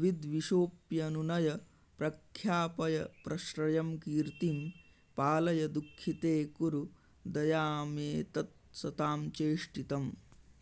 विद्विशोऽप्यनुनय प्रख्यापय प्रश्रयं कीर्तिं पालय दुःखिते कुरु दयामेतत्सतां चेष्टितम्